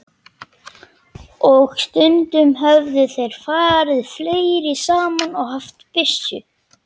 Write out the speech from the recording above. Og stundum höfðu þeir farið fleiri saman og haft byssu.